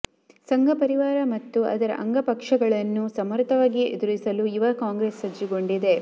ಸಂಘಪರಿವಾರ ಮತ್ತು ಅದರ ಅಂಗಪಕ್ಷಗಳನ್ನು ಸಮರ್ಥವಾಗಿ ಎದುರಿಸಲು ಯುವ ಕಾಂಗ್ರೆಸ್ ಸಜ್ಜುಗೊಂಡಿದೆ